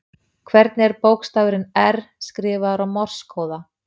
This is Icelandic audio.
Hvernig er bókstafurin R, skrifaður á morse-kóða?